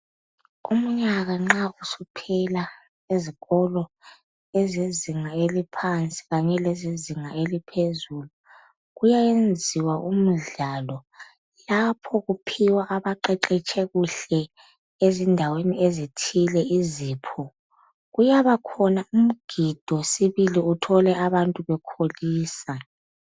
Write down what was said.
Umnyaka nxa usuphela ezikolo ezezinga eliphansi khanye lezezinga eliphezulu kuyayenziwa umdlalo lapho kuphiwa abaqheqhetshe kuhle ezindaweni ezithile izipho. Kuyabakhona umgido sibili uthole abantu bekholisa.